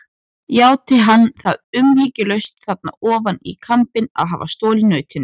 Játti hann það umyrðalaust þarna ofan í kambinn að hafa stolið nautinu.